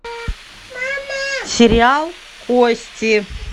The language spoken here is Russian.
сериал кости